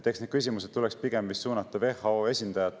Eks need küsimused tuleks pigem suunata WHO esindajatele.